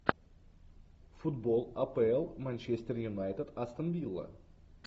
футбол апл манчестер юнайтед астон вилла